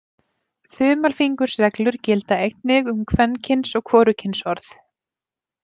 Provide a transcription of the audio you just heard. Þumalfingursreglur gilda einnig um kvenkyns- og hvorugkynsorð.